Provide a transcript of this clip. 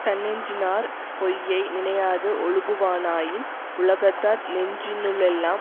தன்னெஞ்சினாற் பொய்யை நினையாது ஒழுகுவனாயின் உலகத்தார் நெஞ்சினுளெல்லாம்